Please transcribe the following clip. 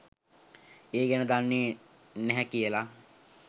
ඒ ගැන දන්නේ නැහැ කියලා.